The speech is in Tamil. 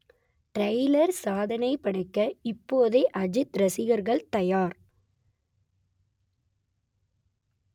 ட்ரெய்லர் சாதனைப் படைக்க இப்போதே அஜித் ரசிகர்கள் தயார்